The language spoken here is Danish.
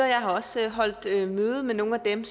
jeg har også holdt møde med nogle af dem